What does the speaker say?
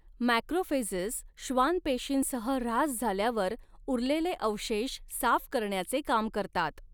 Macrophages श्वान पेशींसह ऱ्हास झाल्यावर उरलेले अवशेष साफ करण्याचे काम करतात.